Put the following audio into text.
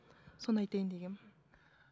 соны айтайын дегенмін